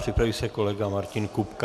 Připraví se kolega Martin Kupka.